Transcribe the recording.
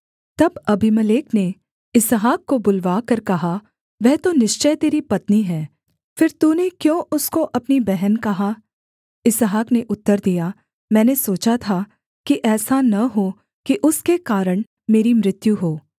तब अबीमेलेक ने इसहाक को बुलवाकर कहा वह तो निश्चय तेरी पत्नी है फिर तूने क्यों उसको अपनी बहन कहा इसहाक ने उत्तर दिया मैंने सोचा था कि ऐसा न हो कि उसके कारण मेरी मृत्यु हो